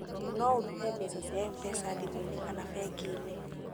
No ũrute mbeca cia MPESA thimũ-inĩ kana bengi-inĩ